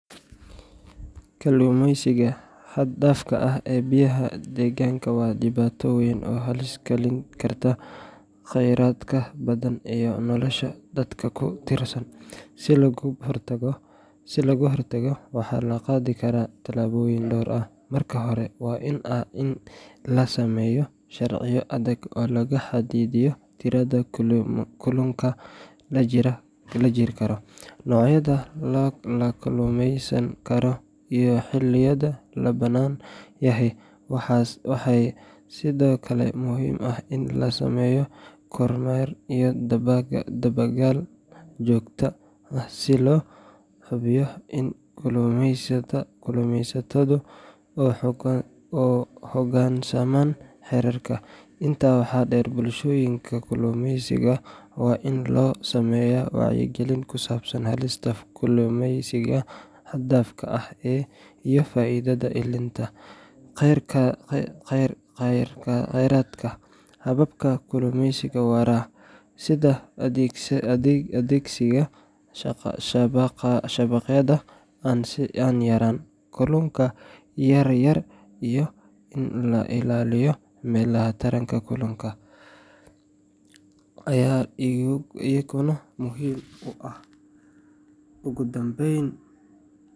Kalluumeysiga xad-dhaafka ah ee biyaha deegaanka waa dhibaato weyn oo halis gelin karta khayraadka badda iyo nolosha dadka ku tiirsan. Si looga hortago, waxaa la qaadi karaa tallaabooyin dhowr ah. Marka hore, waa in la sameeyo sharciyo adag oo lagu xadidayo tirada kalluunka la jari karo, noocyada la kalluumeysan karo, iyo xilliyada la bannaan yahay. Waxaa sidoo kale muhiim ah in la sameeyo kormeer iyo dabagal joogto ah si loo hubiyo in kalluumeysatadu u hoggaansamaan xeerarka. Intaa waxaa dheer, bulshooyinka kalluumeysiga waa in loo sameeyaa wacyigelin ku saabsan halista kalluumeysiga xad-dhaafka ah iyo faa’iidada ilaalinta kheyraadka. Hababka kalluumeysiga waara sida adeegsiga shabaqyada aan yarayn kalluunka yaryar iyo in la ilaaliyo meelaha taranka kalluunka, ayaa iyaguna muhiim ah. Ugu dambayn